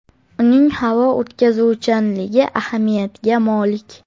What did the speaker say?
Uning havo o‘tkazuvchanligi ahamiyatga molik.